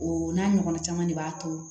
O n'a ɲɔgɔnna caman de b'a to